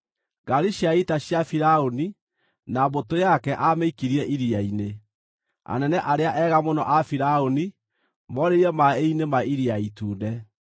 Ngaari cia ita cia Firaũni na mbũtũ yake aamĩikirie iria-inĩ. Anene arĩa ega mũno a Firaũni moorĩire maaĩ-inĩ ma Iria Itune.